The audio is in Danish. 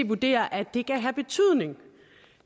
vurderer at det kan have betydning